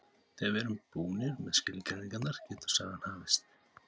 Þegar við erum búnir með skilgreiningarnar getur sagan hafist.